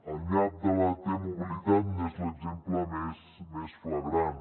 el nyap de la t mobilitat n’és l’exemple més flagrant